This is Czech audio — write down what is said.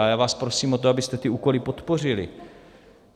A já vás prosím o to, abyste ty úkoly podpořili.